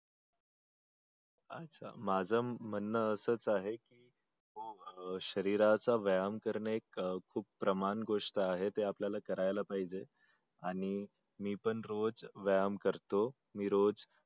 अच्छा माझ म्हणण आसच आहे की शरीराचा व्यायाम करणे खूप प्रमाण गोष्ट आहे ते आपल्याला करायला पाहिजे आणि पण मी रोज व्यायाम करतो मी रोज